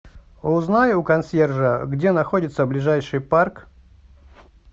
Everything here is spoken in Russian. узнай у консьержа где находится ближайший парк